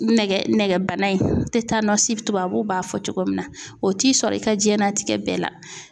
Nɛgɛ nɛgɛbana in tɛtanɔsi tubabuw b'a fɔ cogo min na o t'i sɔrɔ i ka jiyɛn latigɛ bɛɛ la.